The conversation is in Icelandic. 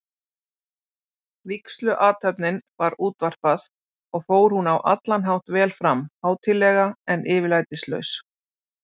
Vígsluathöfninni var útvarpað, og fór hún á allan hátt vel fram, hátíðlega, en yfirlætislaust.